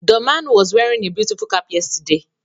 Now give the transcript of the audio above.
The man was wearing a beautiful cap yesterday